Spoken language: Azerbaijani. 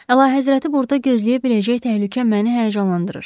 Əlahəzrəti burda gözləyə biləcək təhlükə məni həyəcanlandırır.